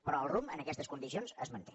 però el rumb en aquestes condicions es manté